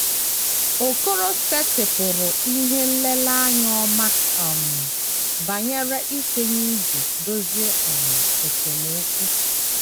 Okorosetịpụrụ ihe nlereanya ọma um banyere ikwenye iji dozie um esemokwu